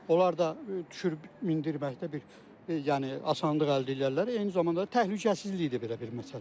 Onlar da düşür-mindirməkdə bir, yəni asanlıq əldə eləyərlər, eyni zamanda təhlükəsizlik də belə bir məsələdir.